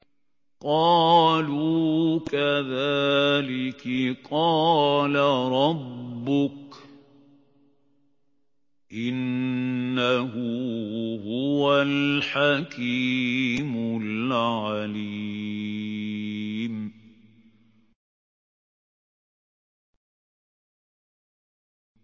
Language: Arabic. قَالُوا كَذَٰلِكِ قَالَ رَبُّكِ ۖ إِنَّهُ هُوَ الْحَكِيمُ الْعَلِيمُ